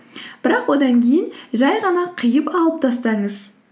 бірақ одан кейін жай ғана қиып алып тастаңыз